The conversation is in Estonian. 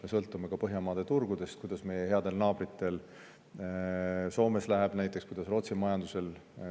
Me sõltume ka Põhjamaade turgudest, näiteks sellest, kuidas meie headel naabritel Soomes läheb ja kuidas läheb Rootsi majandusel.